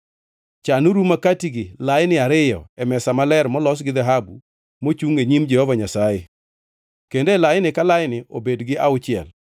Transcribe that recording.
Chan uru makatigi laini ariyo e mesa maler molos gi dhahabu mochungʼ e nyim Jehova Nyasaye kendo e laini ka laini obed gi auchiel.